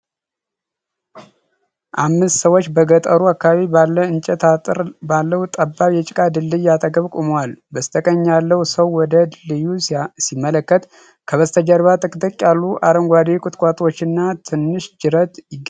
አምስት ሰዎች በገጠሩ አካባቢ ባለ የእንጨት አጥር ባለው ጠባብ የጭቃ ድልድይ አጠገብ ቆመዋል። በስተቀኝ ያለው ሰው ወደ ድልድዩ ሲያመለክት፣ ከበስተጀርባ ጥቅጥቅ ያሉ አረንጓዴ ቁጥቋጦዎችና ትንሽ ጅረት ይገኛሉ።